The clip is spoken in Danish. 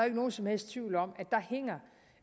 ikke nogen som helst tvivl om